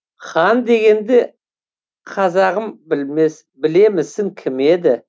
хан дегенді қазағым білемісің кім еді